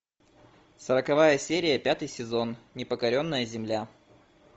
сороковая серия пятый сезон непокоренная земля